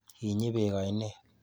Kinyi beek ainet.